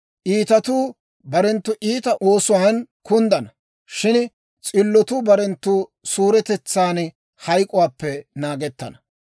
Iitatuu barenttu iita oosuwaan kunddana; shin s'illotuu barenttu suuretetsan hayk'k'uwaappe naagettana.